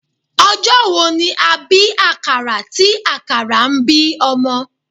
Ọjọ́ wo ni a bí àkàrà tí àkàrà ń bí ọmọ?